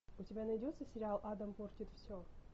у тебя найдется сериал адам портит все